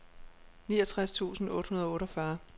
niogtres tusind otte hundrede og otteogfyrre